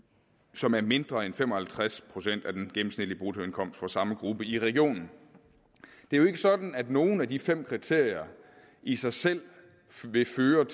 som er mindre end fem og halvtreds procent af den gennemsnitlige bruttoindkomst for samme gruppe i regionen det er jo ikke sådan at nogen af de fem kriterier i sig selv vil betyde